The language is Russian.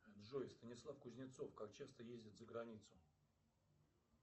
джой станислав кузнецов как часто ездит за границу